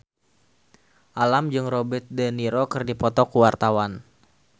Alam jeung Robert de Niro keur dipoto ku wartawan